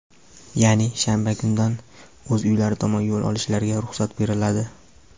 ya’ni shanba kundan o‘z uylari tomon yo‘l olishlariga ruxsat beriladi.